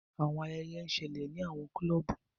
Awọn ayẹyẹ n ṣẹlẹ ni awọn clubu.